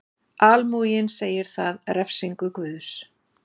Almúginn segir það refsingu Guðs.